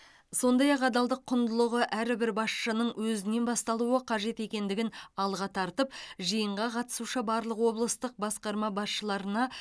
сондай ақ адалдық құндылығы әрбір басшының өзінен басталуы қажет екендігін алға тартып жиынға қатысушы барлық облыстық басқарма басшыларына